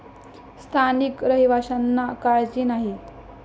स्थानिक रहिवाशांना काळजी नाही.